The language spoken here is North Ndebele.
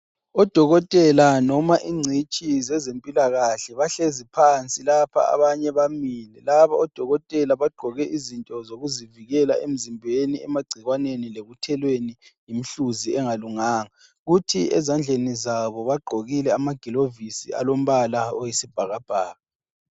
Odokotela noma ingcitshi zezempilakahle ,bahlezi phansi lapha abanye bamile .Laba odokotela bagqoke izinto zokuzivikela emzimbeni, emagcikwaneni lekuthelweni yimihluzi engalunganga .Kuthi ezandleni zabo bagqokile amagilovisi alombala oyisibhakabhaka.